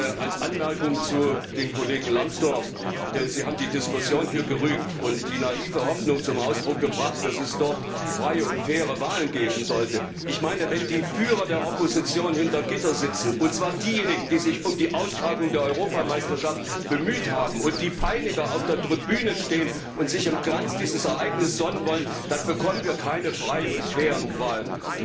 Eine Anmerkung zum Kollegen Lambsdorff Sie haben die Diskussion hier gerügt und die naive Hoffnung zum Ausdruck gebracht, dass es dort freie und faire Wahlen geben sollte. Ich meine, wenn die Führer der Opposition hinter Gitter sitzen, und zwar diejenigen, die sich um die Austragung der Europameisterschaft bemüht haben, und die Peiniger auf der Tribüne stehen und sich im Glanz dieses Ereignisses sonnen wollen, dann bekommen wir keine freien und fairen Wahlen.